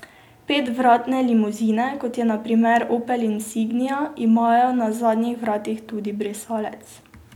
Petvratne limuzine, kot je na primer opel insignia, imajo na zadnjih vratih tudi brisalec.